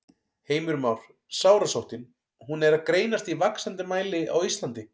Heimir Már: Sárasóttin, hún er að greinast í vaxandi mæli á Íslandi?